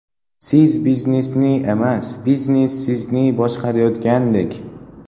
Siz biznesni emas, biznes sizni boshqarayotgandek.